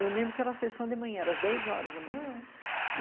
Eu lembro que era a sessão de manhã, às dez horas da manhã, hum.